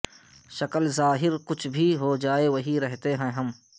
شکل ظاہر کچھ بھی ہو جائے وہی رہتے ہیں ہم